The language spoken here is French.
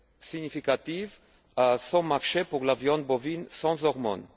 significatif à son marché pour la viande bovine sans hormone.